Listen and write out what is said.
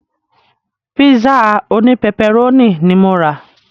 Pízà òní pẹpẹrónì ní mo rà.